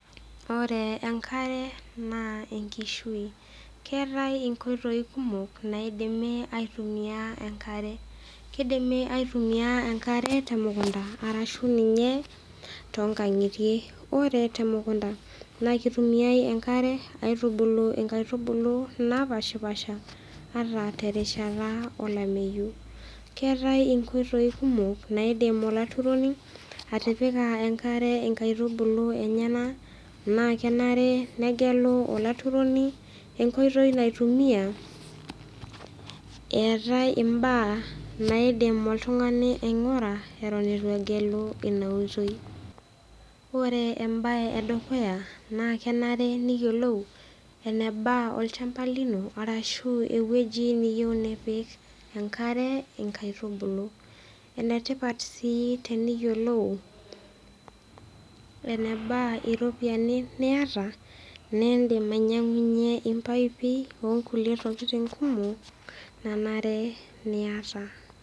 Ore enkare naa enkishui, keatai inkoitoi kumok naidimi aitumia enkare. Keidimi aitumia enkare temukunda arashu ninye toonkang'itie. Ore temukunda, naa keitumiai enkare aitubuulu inkaitubulu naapaashipaasha ata terishata olameyu. Keatai inkoitoi kumok naidim olaturoni atipika inkaitubulu enyena enkare naa kenare negelu olaturoni enkoitoi naitumia eatai imbaa naidim oltung'ani aing'ura eton eitu egellu ina oitoi. Ore embae edukuya naa kenare neyiolou eneba olchamba lino arashu ewueji niyeu nipik enkare inkaitubulu. Enetipat sii teneyiolou eneba iropiani niata niindim ainyang'unyie impaipi okulie tokitin kumok nanare niata.